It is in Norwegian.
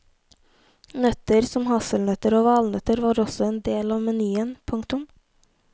Nøtter som hasselnøtter og valnøtter var også en del av menyen. punktum